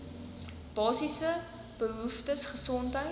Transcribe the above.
basiese behoeftes gesondheids